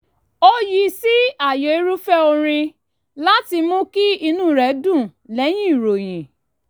ó yí sí ààyò irúfẹ́ orin láti mú kí inú rẹ̀ dùn lẹ́yìn ìròyìn